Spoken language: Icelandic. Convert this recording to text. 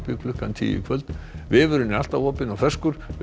klukkan tíu í kvöld vefurinn er alltaf opinn og ferskur verið